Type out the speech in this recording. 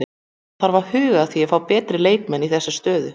Það þarf að huga að því að fá betri leikmenn í þessa stöðu.